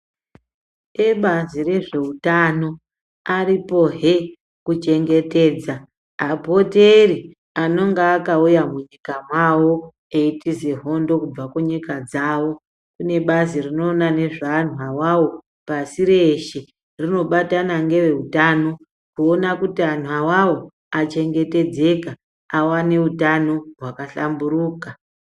Ebazi rezveutano aripohe kuchengetedza apoteri anonga akauya munyika mavo eyitiza hondo kubva kunyika dzawo. Kune bazi rinoona nezve anhu awawo pasi reshe. Rinobatana nereutano kuona kuti anhu awawo achengetedzeka aweneutano hwakahlamburuka.